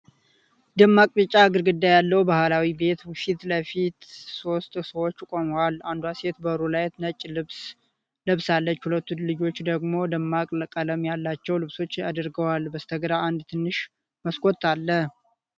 ደማቅ ቢጫ ግድግዳ ያለው ባህላዊ ቤት ፊት ለፊት ሦስት ሰዎች ቆመዋል። አንዷ ሴት በሩ ላይ ነጭ ልብስ ለብሳለች። ሁለቱ ልጆች ደግሞ ደማቅ ቀለም ያላቸው ልብሶች አድርገዋል። በስተግራ አንድ ትንሽ መስኮት አለ።